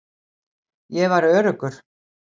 Ég var öruggur.